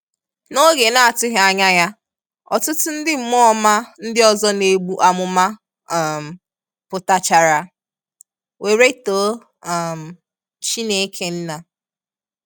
N’oge na-atụghị anya ya, ọtụtụ ndị mmụọ ọma ndị ọzọ na-egbu amụma um pụta-chara, were too um Chineke Nna.